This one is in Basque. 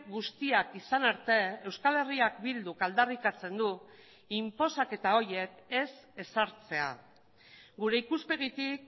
guztiak izan arte euskal herriak bilduk aldarrikatzen du inposaketa horiek ez ezartzea gure ikuspegitik